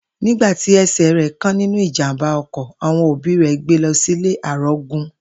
Nígbà ti e̩sè̩ rè̩ kán nínú ìjàmbá o̩kò̩, àwo̩n òbí rè̩ gbe lo̩ sílé àrógun